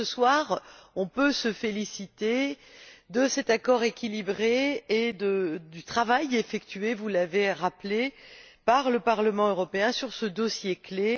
Ce soir, on peut se féliciter de cet accord équilibré et du travail effectué, vous l'avez rappelé, par le Parlement européen dans ce dossier clé.